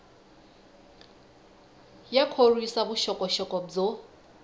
ya khorwisa vuxokoxoko byo